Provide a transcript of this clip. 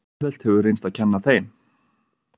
Auðvelt hefur reynst að kenna þeim.